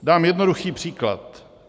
Dám jednoduchý příklad.